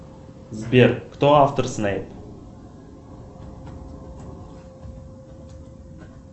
сбер кто автор снейп